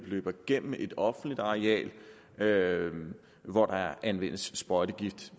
løber igennem et offentligt areal areal hvor der anvendes sprøjtegifte